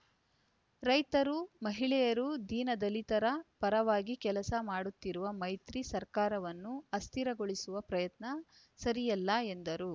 ರೈತರು ಮಹಿಳೆಯರು ದೀನ ದಲಿತರ ಪರವಾಗಿ ಕೆಲಸ ಮಾಡುತ್ತಿರುವ ಮೈತ್ರಿ ಸರ್ಕಾರವನ್ನು ಅಸ್ಥಿರಗೊಳಿಸುವ ಪ್ರಯತ್ನ ಸರಿಯಲ್ಲ ಎಂದರು